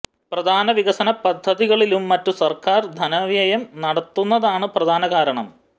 പ്രധാന വികസന പദ്ധതികളിലും മറ്റും സര്ക്കാര് ധനവ്യയം നടത്തുന്നതാണ് പ്രധാന കാരണം